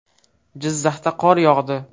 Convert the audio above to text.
Jizzaxda qor yog‘di .